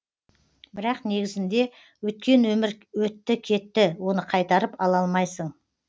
бірақ негізінде өткен өмір өтті кетті оны қайтарып ала алмайсың